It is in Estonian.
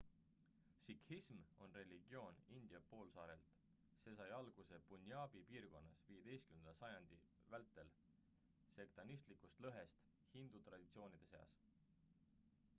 sikhism on religioon india poolsaarelt see sai alguse punjabi piirkonnas 15 sajandi vältel sektantlikust lõhest hindu traditsioonide seas